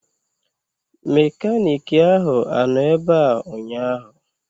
Mekaniiki ahụ anọ ebea ụnyaahụ?